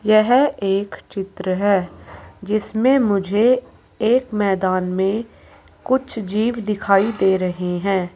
यह एक चित्र है जिसमें मुझे एक मैदान में कुछ जीव दिखाई दे रहे हैं।